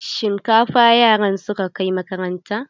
Shinkafa yaran suka kai makaranta.